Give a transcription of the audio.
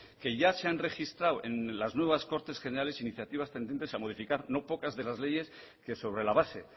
que ya se han registrado en las nuevas cortes generales iniciativas tendentes a modificar no pocas de las leyes que sobre la base